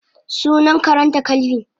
Sunan karenta kelvin.